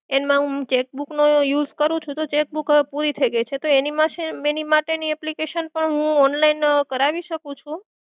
એમાં હું cheque book નો use કરું છું તો cheque book હવે પૂરી થઈ ગઈ છે તો એની માશે એની માટેની application હું online કરાવી શકું છું?